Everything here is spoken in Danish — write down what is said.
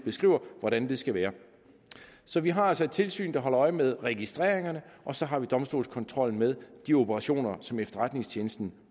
hvordan det skal være så vi har altså et tilsyn der holder øje med registreringerne og så har vi domstolskontrol med de operationer som efterretningstjenesten